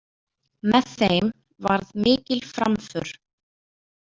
Með þeim varð mikil framför.